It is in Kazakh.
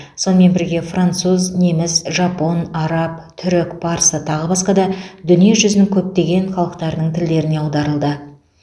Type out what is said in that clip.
сонымен бірге француз неміс жапон араб түрік парсы тағы басқа да дүниежүзінің көптеген халықтарының тілдеріне аударылды